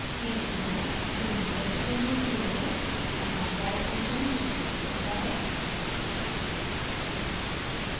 तीसरी बार denominator value zero है अतः die फंक्शन निष्पादित होता है